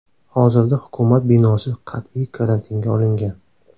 Hozirda hukumat binosi qat’iy karantinga olingan.